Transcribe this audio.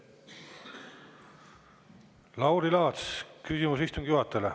Lauri Laats, küsimus istungi juhatajale.